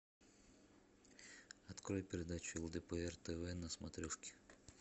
открой передачу лдпр тв на смотрешке